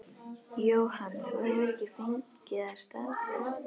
Jóhann: Þú hefur ekki fengið það staðfest?